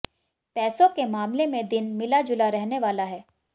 पैसों के मामले में दिन मिलाजुला रहने वाला है